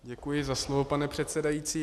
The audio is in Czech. Děkuji za slovo, pane předsedající.